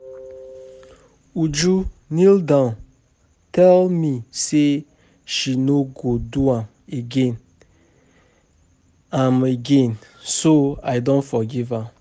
Uju kneel down tell me say she no go do am again am again so I don forgive am